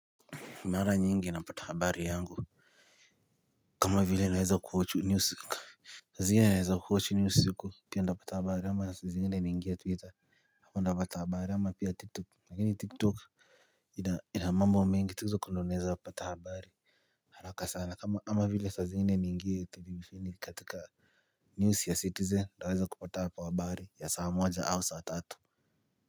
Mara nyingi napata habari yangu. Kama vile naweza kuwatch music hizia naweza kuwatch news usiku pia ntapata habari ama saa zingine naingia Twitter hapa ntapata habari ama pia TikTok lakini TikTok Ina mambo mengi twitter huko ndio naeza pata habari. Haraka sana kama ama vile saa zingine niingie televisheni katika News ya citizen naweza kupata hapo habari ya saa moja au saa tatu.